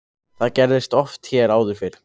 Það gerðist oft hér áður fyrr.